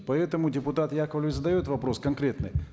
поэтому депутат яковлев задает вопрос конкретный